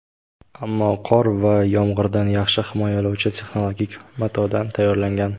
ammo qor va yomg‘irdan yaxshi himoyalovchi texnologik matodan tayyorlangan.